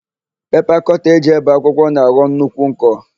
Pepa kọta e ji ébè akwụkwọ na-aghọ nnukwu nkọ.